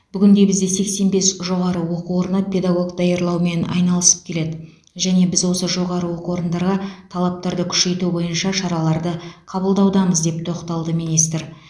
бүгінде бізде сексен бес жоғары оқу орны педагог даярлаумен айналысып келеді және біз осы жоғары оқу орындарға талаптарды күшейту бойынша шараларды қабылдаудамыз деп тоқталды министр